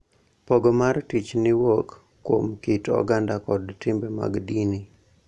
Pogo mar tich ni wuok kuom kit oganda kod timbe mag dini .